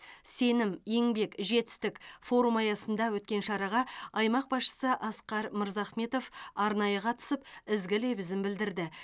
сенім еңбек жетістік форум аясында өткен шараға аймақ басшысы асқар мырзахметов арнайы қатысып ізгі лебізін білдірді